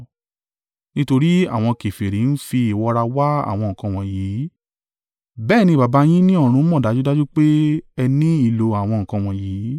Nítorí àwọn kèfèrí ń fi ìwọra wá àwọn nǹkan wọ̀nyí bẹ́ẹ̀ ni Baba yín ní ọ̀run mọ̀ dájúdájú pé ẹ ní ìlò àwọn nǹkan wọ̀nyí.